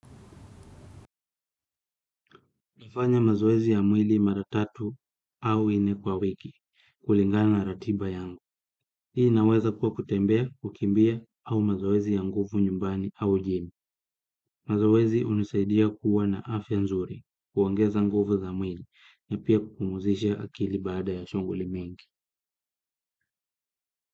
Nafanya mazoezi ya mwili mara tatu au ine kwa wiki, kulingana na ratiba yangu. Hii inaweza kuwa kutembea, kukimbia au mazoezi ya nguvu nyumbani au jim. Mazoezi unisaidia kuwa na afya nzuri, kuongeza nguvu za mwili, na pia kupumzisha akili baada ya shunguli mingi.